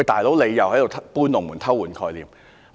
"老兄"，他們又在"搬龍門"，偷換概念。